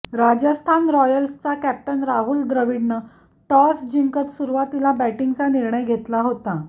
राजस्थान रॉयल्सचा कॅप्टन राहुल द्रवीडनं टॉस जिंकत सुरुवातीला बॅटींगचा निर्णय घेतला होता